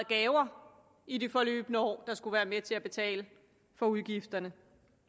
gaver i det forløbne år der skulle være med til at betale for udgifterne